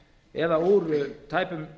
eða úr tæpum